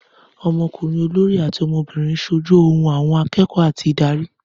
Ọmọkùnrin olórí àti ọmọbìnrin ṣojú ohùn àwọn akẹ́kọ̀ọ́ àti ìdarí.